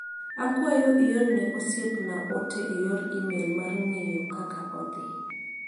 Akwayo ior ne osiepna ote e yor imel mar ng'eyo kaka odhi.